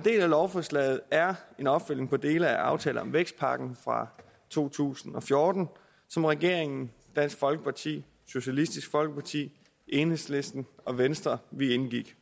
del af lovforslaget er en opfølgning på dele af aftaler om vækstpakken fra to tusind og fjorten som regeringen dansk folkeparti socialistisk folkeparti enhedslisten og venstre indgik